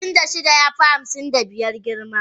Hamsin da shida ya fi hamsin da biyar girma.